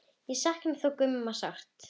Ég saknaði þó Gumma sárt.